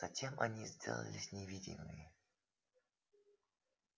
затем они сделались невидимыми